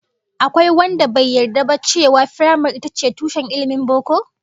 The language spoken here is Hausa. Akwai wanda bai yarda ba cewa firamare ita ce tushen ilmin boko?